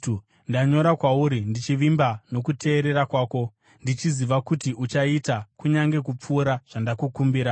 Ndanyora kwauri ndichivimba nokuteerera kwako, ndichiziva kuti uchaita kunyange kupfuura zvandakukumbira.